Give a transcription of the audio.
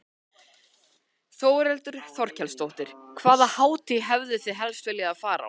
Þórhildur Þorkelsdóttir: Hvaða hátíð hefðuð þið helst viljað fara á?